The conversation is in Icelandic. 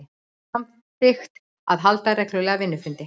Samþykkt að halda reglulega vinnufundi